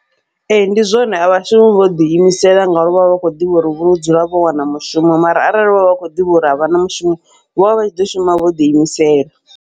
Ee, ndi zwone a vhashumi vho ḓi imisela ngauri vha vha vha kho ḓivha uri vho dzula vho wana mushumo, mara arali vhovha vha kho ḓivha uri avhana mushumo vhovha vha tshi ḓo shuma vho ḓi imisela.